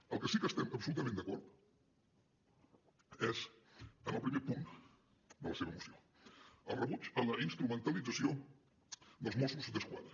en el que sí que estem absolutament d’acord és en el primer punt de la seva moció el rebuig a la instrumentalització dels mossos d’esquadra